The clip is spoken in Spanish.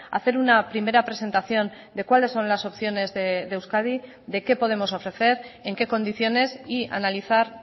hacer una primera presentación de cuáles son las opciones de euskadi de qué podemos ofrecer en qué condiciones y analizar